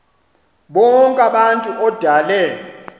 bonk abantu odale